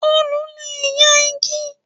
Òòlù le ya igi.